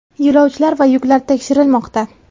Yo‘lovchilar va yuklar tekshirilmoqda.